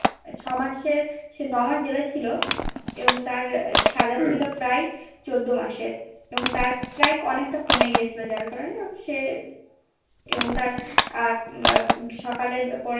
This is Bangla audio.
ছয় মাসের সে নয় মাস Jail এ ছিল এবং তার সাজা ছিল প্রায় চোদ্দো মাসের এবং তার প্রায় অনেকটা কমে গিয়েছিলো যার কারণে সে এবং তার উম সকালের পরে